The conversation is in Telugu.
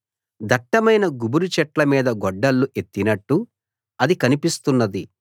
దట్టమైన గుబురు చెట్ల మీద గొడ్డళ్ళు ఎత్తినట్టు అది కనిపిస్తున్నది